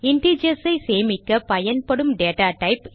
integers ஐ சேமிக்க பயன்படும் டேட்டா டைப்